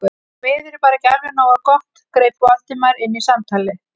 Því miður er bara ekki alveg nógu gott- greip Valdimar inn í samtalið.